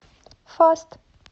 фаст